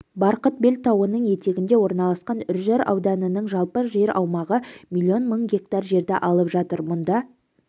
барқытбел тауының етегінде орналасқан үржар ауданының жалпы жер аумағы миллион мың гектар жерді алып жатыр мұнда